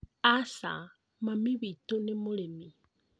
Aca mami witu nĩ mũrĩmi